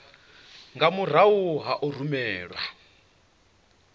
nga murahu ha u rumelwa